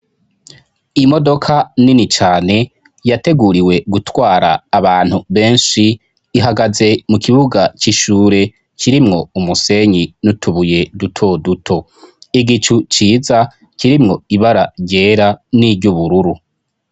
Imodoka nini cane yateguriwe gutwara abantu benshi, ihagaze mu kibuga c'ishure kirimwo umusenyi n'utubuye duto duto. Igicu ciza kirimwo ibara ryera n'iry'ubururu.